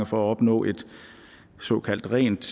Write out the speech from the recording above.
for at opnå et såkaldt rent